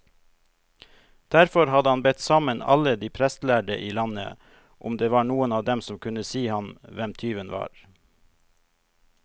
Derfor hadde han bedt sammen alle de prestlærde i landet, om det var noen av dem som kunne si ham hvem tyven var.